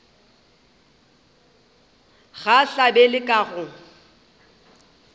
ga a hlabe ka go